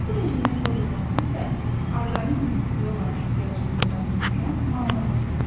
Yuxu rejiminin pozulması isə orqanizmin yuxuya olan ehtiyacının ödənməsinə mane olur.